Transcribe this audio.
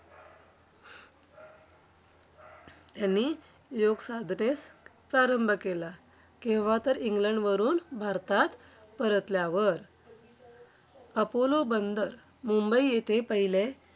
त्यांनी योगसाधनेस प्रारंभ केला. केव्हा? तर इंग्लंडवरून भारतात परतल्यावर. अपोलो बंदर मुंबई येथे पहिले,